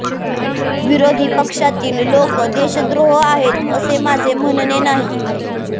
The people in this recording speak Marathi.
विरोधी पक्षातील लोक देशद्रोह आहेत असे माझे म्हणने नाही